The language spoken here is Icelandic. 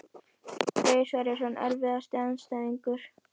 Freyr Sverrisson Erfiðasti andstæðingur?